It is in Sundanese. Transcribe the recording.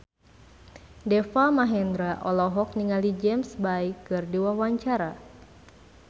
Deva Mahendra olohok ningali James Bay keur diwawancara